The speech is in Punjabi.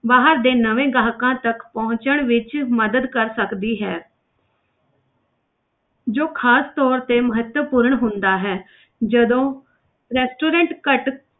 ਬਾਹਰ ਦੇ ਨਵੇਂ ਗਾਹਕਾਂ ਤੱਕ ਪਹੁੰਚਣ ਵਿੱਚ ਮਦਦ ਕਰ ਸਕਦੀ ਹੈ ਜੋ ਖ਼ਾਸ ਤੌਰ ਤੇ ਮਹੱਤਵਪੂਰਨ ਹੁੰਦਾ ਹੈ ਜਦੋਂ restaurant ਘੱਟ